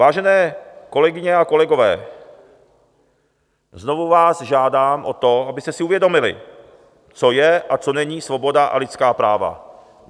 Vážené kolegyně a kolegové, znovu vás žádám o to, abyste si uvědomili, co je a co není svoboda a lidská práva.